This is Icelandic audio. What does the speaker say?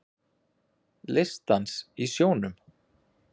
Listdans í sjónum